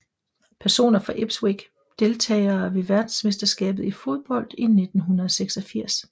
Personer fra Ipswich Deltagere ved verdensmesterskabet i fodbold 1986